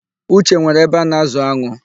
Uche nwere ebe ana-ázụ̀ an̄ụ.